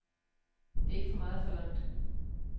Det er ikke for meget forlangt.